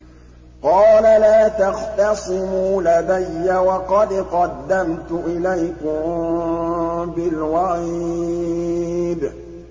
قَالَ لَا تَخْتَصِمُوا لَدَيَّ وَقَدْ قَدَّمْتُ إِلَيْكُم بِالْوَعِيدِ